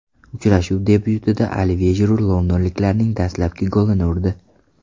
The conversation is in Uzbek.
Uchrashuv debyutida Olivye Jiru londonliklarning dastlabki golini urdi.